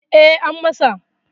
E, an masa.